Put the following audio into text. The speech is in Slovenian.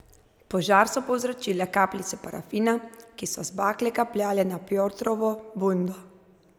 Požar so povzročile kapljice parafina, ki so z bakle kapljale na Pjotrovo bundo.